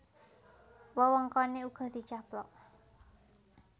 Wewengkoné uga dicaplok